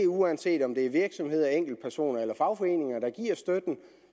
uanset om det er virksomheder enkeltpersoner eller fagforeninger der giver støtten